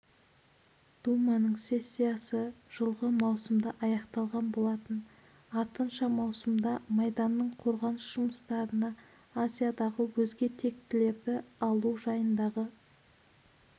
думаның сессиясы жылғы маусымда аяқталған болатын артынша маусымда майданның қорғаныс жұмыстарына азиядағы өзге тектілерді алу жайындағы